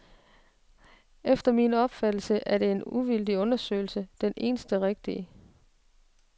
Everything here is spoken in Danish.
Efter min opfattelse er en uvildig undersøgelse det eneste rigtige.